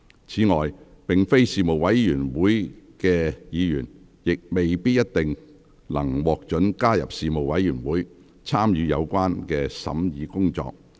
此外，並非事務委員會委員的議員，亦未必一定能獲准加入事務委員會，參與有關的審議工作。